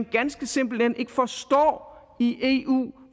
ganske simpelt hen ikke forstår